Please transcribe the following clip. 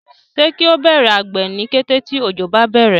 se kio Bẹrẹ àgbè ní kété tí ojo bá bẹrẹ?